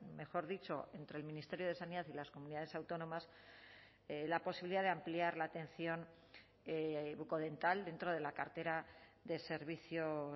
mejor dicho entre el ministerio de sanidad y las comunidades autónomas la posibilidad de ampliar la atención bucodental dentro de la cartera de servicios